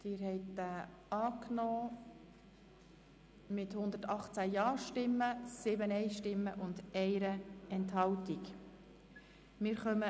Sie haben dem Artikel mit 118 Ja- gegen 7 Nein-Stimmen bei einer Enthaltung zugestimmt.